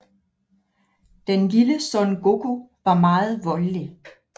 Den lille Son Goku var meget voldelig